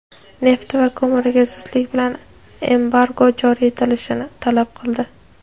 nefti va ko‘miriga zudlik bilan embargo joriy etilishini talab qildi.